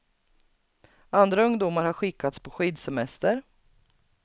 Andra ungdomar har skickats på skidsemester.